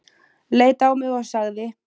Leit á mig og sagði